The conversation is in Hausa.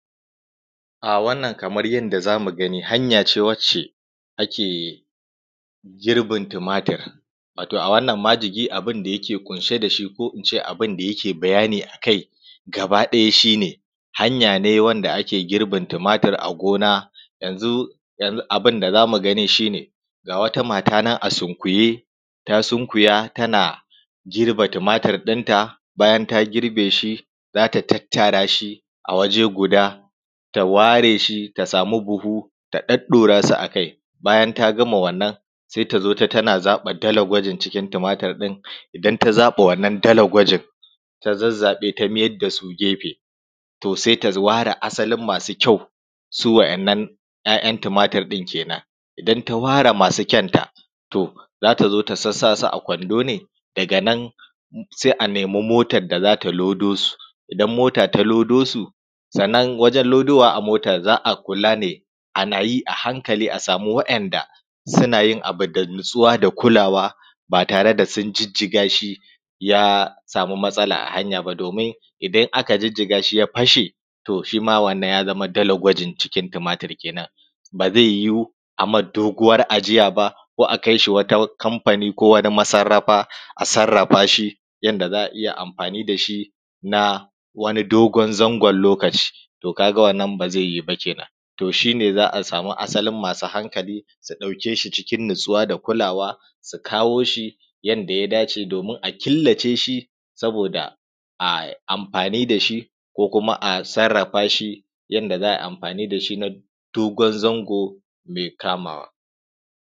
A wannan kaman yadda za mu gani hanya ce da ake girbin tumatir, wato a wannan majigi abun da yake ƙunshe da shi ko abun da yake bayani a kai gabaɗaya shi ne hanya ne da ake girbin tumatir a gona. Yanzu abun da za mu gani shi ne ga wata mata nan a sunkuye ta sunkuya tana girbe tumatir ɗinta bayan ta girbe shi, za ta tattara shi a waje guda ta samu buhu ta ɗaɗɗaura su akai, bayan ta gama wannan sai tazo tana zaɓe dalagwajen cikin tumatir ɗin, idan ta zaɓe wannan dalagwajen ta zazzaɓe su ta mai da gefe za ta ware asalin masu kyau su waɗannan tumatir ɗin kenan. Idan ta ware masu kyau ɗin za ta zo ta sassa su a kwando ne daga nan sai a nemi motan da za ta lodo su, idan mota ta lodo su sannan wajen lodo wa a mota za a kula da hankali, sannan a samu waɗanda suna yin abu da natsuwa da kulawa ba tare da sun jijjiga shi ya samu matsala a hanya ba; domin idan aka jijjiga shi ya fashe to shima wannan ya zama dalagwajen. Cikin wannan tumatir kenan ba zai yi wu a mai dogon ajiya ba, ko akai wani kamfani ko wani masarrafa a samu a sarrafa shi yadda za a iya amfani da shi na wani dogon zangon lokaci. To, ka ga wannan ba zai yi ba kenan to shi ne za a samu masu hankali su ɗauke shi cikin natsuwa da kulawa, su kawo shi yadda ya dace domin a killace shi saboda a yi amfani da shi ko kuma ko kuma a sarrafa shi yadda za ai amfani da shi na dogon zango mai kamawa.